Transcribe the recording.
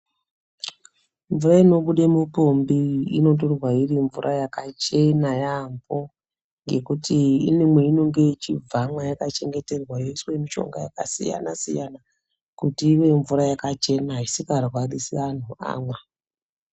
Mvura inobude mupombi unotorwa iri mvura yakachena yaamho ngekuti ine mweinenge ichibva yakachengeterwa yoiswa mishonga yakasiyana -siyana kuti ive mvura yakachena isikarwarisi anhu amwa.